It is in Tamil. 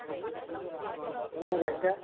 உம் எங்க